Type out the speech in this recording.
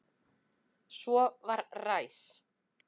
Svo var ræs.